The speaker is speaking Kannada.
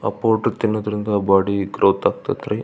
ಅ ಪ್ರುಟ್ ತಿನ್ನೋದ್ರಿಂದ ಬಾಡಿ ಗ್ರೋಥ್ ಆಗತ್ತರಿ.